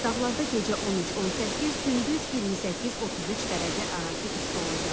Dağlarda gecə 13-18, gündüz 28-33 dərəcə arası isti olacaq.